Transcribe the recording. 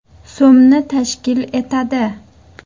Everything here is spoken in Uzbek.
so‘mni tashkil etadi.